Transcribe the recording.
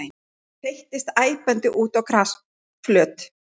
Hún þeyttist æpandi út á grasflöt.